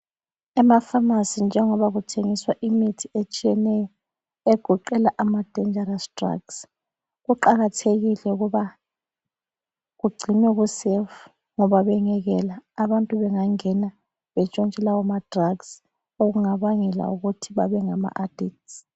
Emafamasi njengoba kuthengiswa imithi etshiyeneyo egoqela am-dangerous drugs, kuqakathekile ukuba kugcinwe ku-safe ngoba bengekela abantu bengangena betshontshe lawo ma-drugs okungabangela ukuthi bebe ngama adicts.